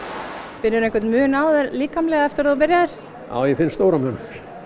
finnurðu einhvern mun á þér líkamlega eftir að þú byrjaðir já ég finn stóran mun